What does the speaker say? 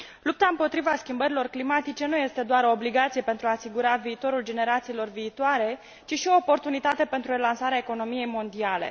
Lupta împotriva schimbărilor climatice nu este doar o obligație pentru a asigura viitorul generațiilor viitoare, ci și o oportunitate pentru relansarea economiei mondiale.